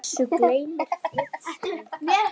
Þessu gleymir Fritz aldrei.